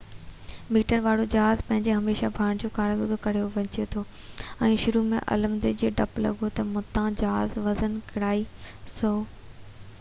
100 metre وارو جهاز پنهنجو هميشہ ڀاڻ جو ڪارگو کڻڻ وڃي رهيو هو ۽ شروع ۾ عملدارن کي ڊپ لڳو تہ متان جهاز وزن ڪيرائي